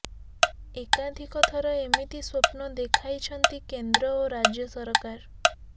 ଏକାଧିକଥର ଏମିତି ସ୍ବପ୍ନ ଦେଖାଇଛନ୍ତି କେନ୍ଦ୍ର ଓ ରାଜ୍ୟ ସରକାର